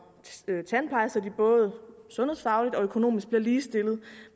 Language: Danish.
tandpleje så de både sundhedsfagligt og økonomisk bliver ligestillet